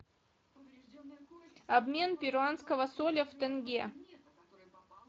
обмен перуанского соля в тенге